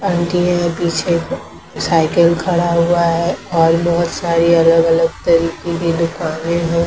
Aunty है पीछे cycle खड़ा हुआ है और बहुत सारी अलग-अलग तरीके की दुकान है।